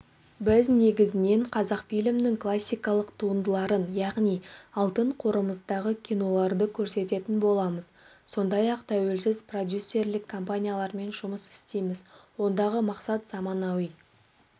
біз негізінен қазақфильмнің классикалық туындыларын яғни алтын қоржынымыздағы киноларды көрсететін боламыз сондай-ақ тәуелсіз продюсерлік компаниялармен жұмыс істейміз ондағы мақсат заманауи